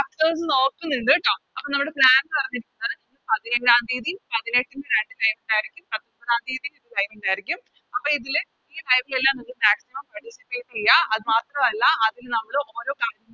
നോക്കുന്നുണ്ട് ട്ടോ അപ്പൊ നമ്മുടെ Plan പറഞ്ഞ് പതിനേഴാം തിയതി അപ്പൊ ഇതില് ഈ നിങ്ങൾക്ക് Maximum ചെയ്യാം അത് മാത്രല്ല അതില് നമ്മള് ഓരോ